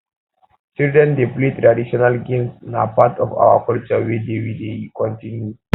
children dey play traditional games na part um of our culture wey dey wey dey continue